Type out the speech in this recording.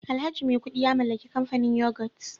alhaji maikudu ya mallaki kamfanin yoghurt